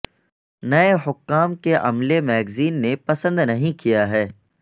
نئے حکام کے عملے میگزین نے پسند نہیں کیا ہے